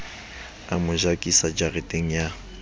a mo jakisa jareteng ya